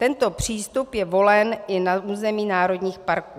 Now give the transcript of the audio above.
Tento přístup je volen i na území národních parků.